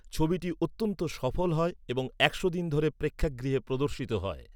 ছবিটি অত্যন্ত সফল হয় এবং একশো দিন ধরে প্রেক্ষাগৃহে প্রদর্শিত হয়।